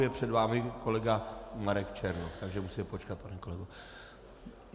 Je před vámi kolega Marek Černoch, takže musíte počkat, pane kolego.